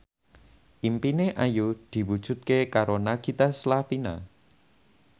impine Ayu diwujudke karo Nagita Slavina